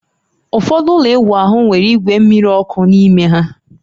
Ụfọdụ ụlọ ịwụ ahụ nwere igwe mmiri ọkụ n'ime ha